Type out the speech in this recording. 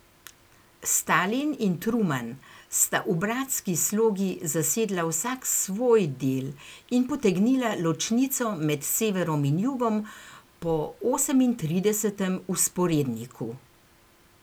Stalin in Truman sta v bratski slogi zasedla vsak svoj del in potegnila ločnico med severom in jugom po osemintridesetem vzporedniku.